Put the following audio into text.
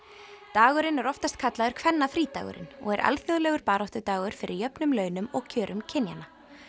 dagurinn er oftast kallaður kvennafrídagurinn og er alþjóðlegur baráttudagur fyrir jöfnum launum og kjörum kynjanna